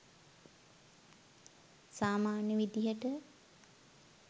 සාමාන්‍ය විදිහට